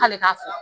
K'ale ka fɔ